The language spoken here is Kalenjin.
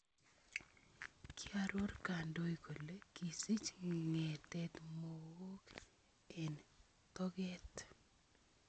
Kiaroor kandoiik kole kisich ng�eetet mook eng tokeet